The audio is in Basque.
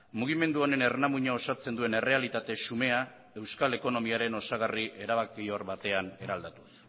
mugimendu honen ernamuina osatzen duen errealitate xumea euskal ekonomiaren osagarri erabakigarri batean eraldatuz